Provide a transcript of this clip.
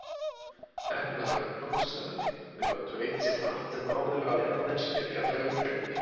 Efnahagurinn blómstraði, þau gátu veitt sér margt sem áður hafði aðeins verið fjarlægur draumur.